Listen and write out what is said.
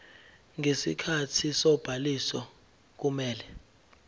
ngesikhathi sobhaliso kumele